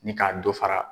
Ni ka dɔ fara